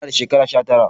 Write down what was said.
Ina da shekara sha tara